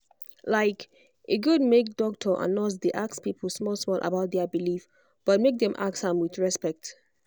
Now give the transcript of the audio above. like e for good make doctor and nurse dey ask people small-small about their belief but make dem ask am with respect.